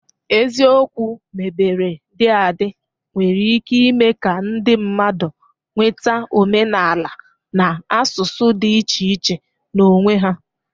Eziokwu mebere dị adị nwere ike ime ka ndị mmadụ nweta omenala na asụsụ dị iche iche n'onwe ha